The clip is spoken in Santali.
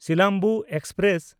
ᱥᱤᱞᱟᱢᱵᱩ ᱮᱠᱥᱯᱨᱮᱥ